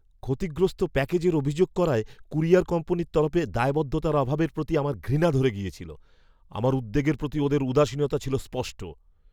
ক্ষতিগ্রস্ত প্যাকেজের অভিযোগ করায় কুরিয়্যার কোম্পানির তরফে দায়বদ্ধতার অভাবের প্রতি আমার ঘৃণা ধরে গিয়েছিল। আমার উদ্বেগের প্রতি ওদের উদাসীনতা ছিল স্পষ্ট।